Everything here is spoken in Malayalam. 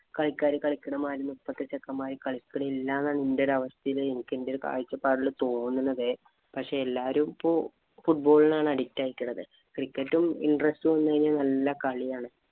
കളിക്കാര് കളിക്കണ പോലെയൊന്നും ഇപ്പോഴത്തെ ചെക്കന്മാര് കളിക്കണില്ല എന്നാണ് എന്‍റെ ഒരു അവസ്ഥയില് എന്‍റെ ഒരു കാഴ്ചപ്പാടില് തോന്നണത്. പക്ഷേ എല്ലാവരും ഇപ്പോൾ football ആണ് addict ആയി കിടക്കുന്നത് cricket interest വന്നുകഴിഞ്ഞാൽ നല്ല കളിയാണ്